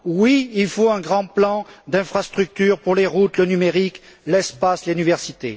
Oui, il faut un grand plan d'infrastructures pour les routes, le numérique, l'espace et l'université.